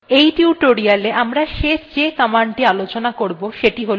এই টিউটোরিয়ালwe আমরা the শেষ commandthe আলোচনা করবো সেটি হল alias command